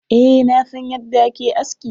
Eh, na san yadda a ke aski.